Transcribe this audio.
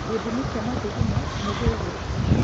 Gĩthimi kĩa mathugumo nĩ gigwĩkwo.